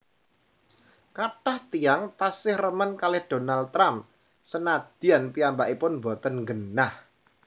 Kathah tiyang tasih remen kalih Donald Trump senadyan piyambakipun mboten nggenah